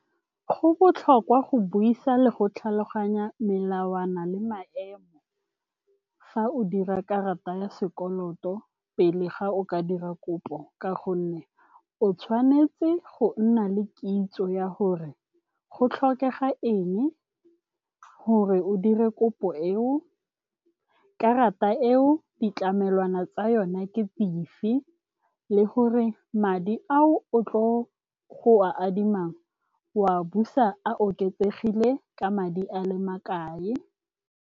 Go botlhokwa go buisa le go tlhaloganya melawana le maemo fa o dira karata ya sekoloto pele ga o ka dira kopo, ka gonne o tshwanetse go nna le kitso ya gore go tlhokega eng gore o dire kopo eo, karata eo ditlamelwana tsa yona ke dife le gore madi ao o tlo go a adimang wa busa a oketsegile ka madi a le makae.